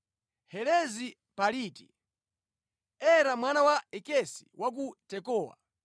Helezi Mpaliti, Ira mwana wa Ikesi wa ku Tekowa,